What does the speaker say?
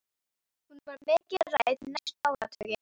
Hún var mikið rædd næstu áratugi.